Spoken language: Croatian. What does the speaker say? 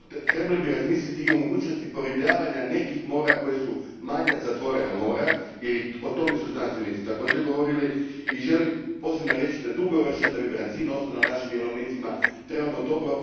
Trebali bi razmisliti i o mogućnosti poribljavanja nekih mora koja su manja zatvorena mora, jer i o tome su znanstvenici također govorili i želim posebno reći da dugoročno, da bi brancin ostao na našim jelovnicima, trebamo dobro